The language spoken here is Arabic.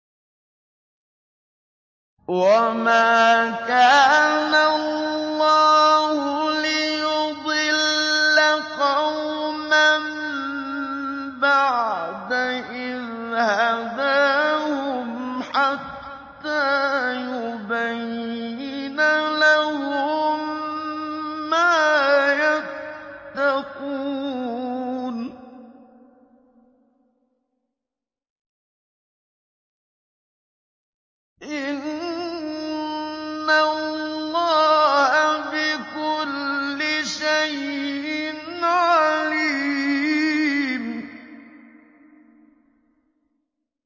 وَمَا كَانَ اللَّهُ لِيُضِلَّ قَوْمًا بَعْدَ إِذْ هَدَاهُمْ حَتَّىٰ يُبَيِّنَ لَهُم مَّا يَتَّقُونَ ۚ إِنَّ اللَّهَ بِكُلِّ شَيْءٍ عَلِيمٌ